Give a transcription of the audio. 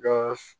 Ga